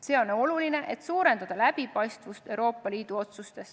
See on oluline, et suurendada Euroopa Liidu otsuste läbipaistvust.